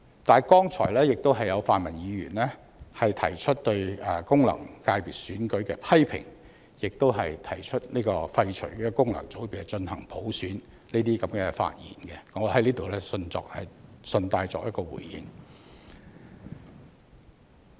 但是，剛才有泛民議員發言提出對功能界別選舉的批評，亦提出廢除功能界別、進行普選，我在此順帶作出回應。